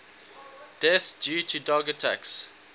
deaths due to dog attacks